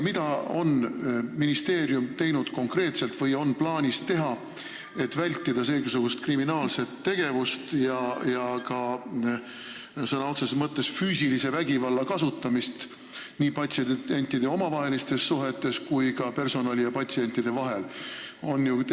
Mida on ministeerium konkreetselt teinud või mida on plaanis teha, et vältida seesugust kriminaalset tegevust ja sõna otseses mõttes füüsilise vägivalla kasutamist nii patsientide omavahelistes suhetes kui ka personali ja patsientide vahel?